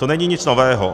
To není nic nového.